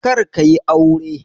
Karka yi aure.